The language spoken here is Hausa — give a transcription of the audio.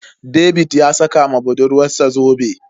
David ya saka ma budurwarsa zobe.